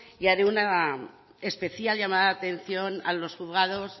y haré una especial llamada de atención a los juzgados